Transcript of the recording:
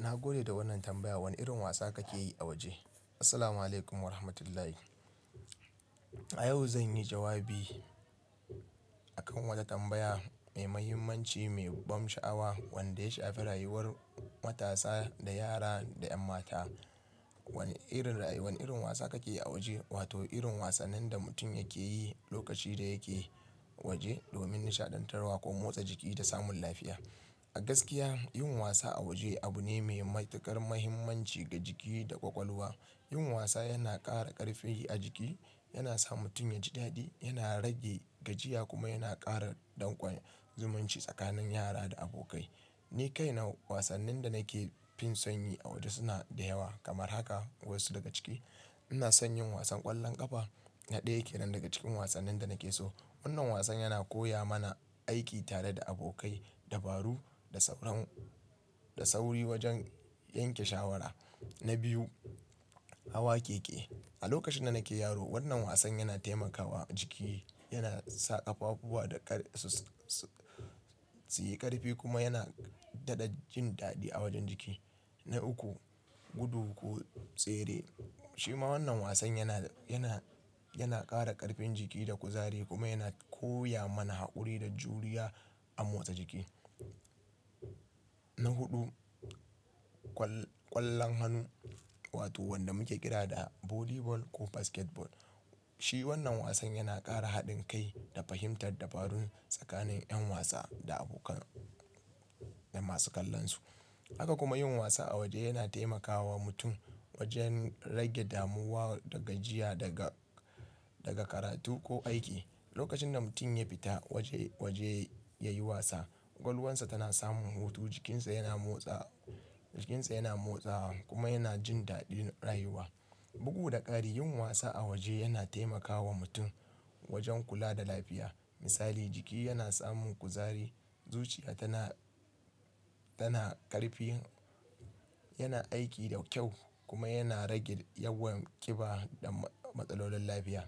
Na gode da wannan tambaya. Wane irin wasa kake yi a waje? Assalamualaikum Warahmatullahi. A yau zan yi jawabi, akan wata tambaya mai muhimmanci, mai ban sha'awa, wadda ya shafi rayuwar matasa, da yara da 'yan mata. Wane irin, wane irin wasa kake yi a waje? Wato irin wasannin da mutum yake yi lokaci da yake waje, domin nishaɗantarwa, ko motsa jiki da samun lafiya. A gaskiya yin wasa a waje, abu ne mai matuƙar mahimmanci ga jiki da ƙwaƙwalwa. Yin wasa yana ƙara ƙarfi a jiki, yana sa mutum ya ji daɗi, yana rage gajiya, kuma yana ƙara dangon zumunci tsakanin yara da abokai. Ni kaina wasannin da nake finson yi a waje suna da yawa. Kamar haka wasu daga ciki. Ina son yin wasan ƙwallon ƙafa, na ɗaya yake nan daga cikin wasannin da nake so. Wannan wasan yana koya mana aiki tare da abokai, dabaru da sauran, da sauri wajen yanke shawara. Na biyu, hawa keke. A lokacin da nake yaro, wannan wasan yana taimakawa jiki, yana sa ƙafafuwa da ƙar su, su yi ƙarfi kuma yana daɗa jin daɗi a wajen jiki. Na uku, gudu ko tsere. Shi ma wannan wasan yana, yana, yana ƙara ƙarfin jiki da kuzari kuma yana koya mana haƙuri da juriya a motsa jiki. Na huɗu, ƙwallon hannu, wato wanda muke kira da volleyball ko basketball. Shi wannan wasan yana ƙara haɗin kai da fahimtar dabarun tsakanin 'yan wasa da abokan 'yan masu kallon su. Haka kuma yin wasa a waje yana taimakawa mutum wajen rage damuwa da gajiya daga, daga karatu ko aiki. Lokacin da mutum ya fita waje, waje ya yi wasa, ƙwalwarsa tana samun hutu, jikinsa yana motsa, jikinsa yana motsawa, kuma yana jin daɗin rayuwa. Bugu da ƙari yin wasa a waje yana taimakawa mutum wajen kula da lafiya. Misali jiki yana samun kuzari, zuciya tana, tana ƙarfi, yana aiki da kyau kuma yana rage yawan ƙiba da matsalolin lafiya.